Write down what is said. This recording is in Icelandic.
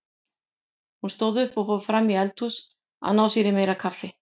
Hún stóð upp og fór fram í eldhús að ná sér í meira kaffi.